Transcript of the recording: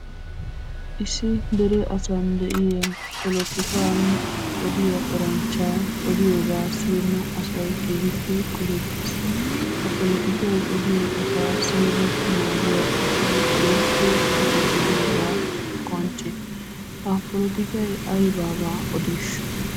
Issi dere asaan de'iya polotikkaan odiyaa eranchcha odiyoobaa siyena asay keehiippe qohettees. Ha polotikkay odiyo asaa siyid naggiya asay keehiippe lo'o gidiyoogaa qoncce. Ha polotikkay aybaba odiishsh?